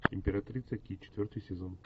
императрица ки четвертый сезон